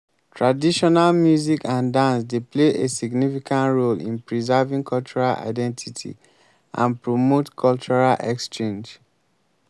traditional music and dance dey play a significant role in preserving cultural identity and promote cultural exchange.